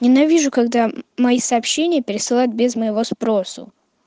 ненавижу когда мои сообщения пересылают без моего спросу